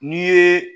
N'i ye